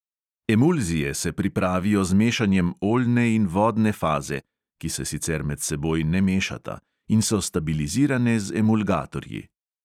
Emulzije se pripravijo z mešanjem oljne in vodne faze (ki se sicer med seboj ne mešata) in so stabilizirane z emulgatorji.